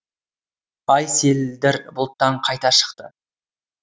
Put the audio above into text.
ай селдір бұлттан қайта шықты